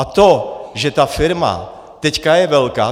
A to že ta firma je teď velká...